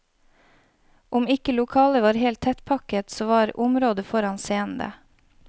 Om ikke lokalet var helt tettpakket, så var området foran scenen det.